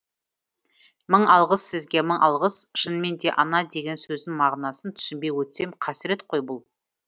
мың алғыс сізге мың алғыс шынымен де ана деген сөздің мағынасын түсінбей өтсем қасірет қой бұл